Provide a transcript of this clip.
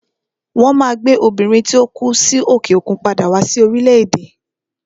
Won Maa gbe Obìnrin tí ó kú sí òkè òkun padà wá sí orílẹ̀ èdè